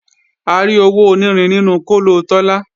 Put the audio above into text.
A rí owó onírin nínú kóló Tọ́lá